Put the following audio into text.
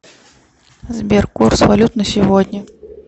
сбер курс валют на сегодня